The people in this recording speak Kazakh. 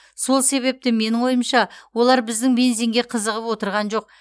сол себепті менің ойымша олар біздің бензинге қызығып отырған жоқ